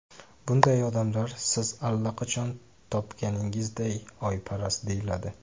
Bunday odamlar, siz allaqachon topganingizday, oyparast deyiladi.